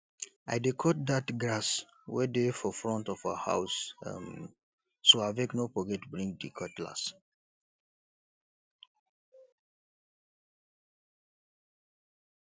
i dey cut dat grass wey dey for front of our house um so abeg no forget bring di cutlass